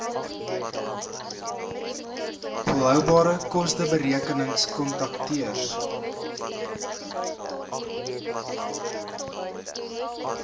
volhoubare kosteberekenings kontakteurs